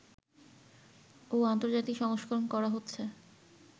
ও আন্তর্জাতিক সংস্করণ করা হচ্ছে